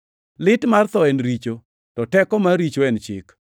Lit mar tho en richo, to teko mar richo en chik.